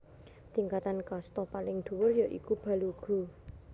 Tingkatan kasta kang paling dhuwur ya iku Balugu